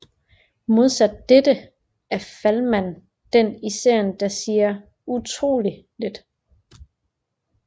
Modsat dette er Falman den i serien der siger utroligt lidt